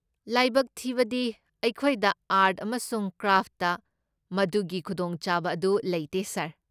ꯂꯥꯏꯕꯛ ꯊꯤꯕꯗꯤ, ꯑꯩꯈꯣꯏꯗ ꯑꯥꯔꯠ ꯑꯃꯁꯨꯡ ꯀ꯭ꯔꯥꯐꯇ ꯃꯗꯨꯒꯤ ꯈꯨꯗꯣꯡꯆꯥꯕ ꯑꯗꯨ ꯂꯩꯇꯦ, ꯁꯥꯔ꯫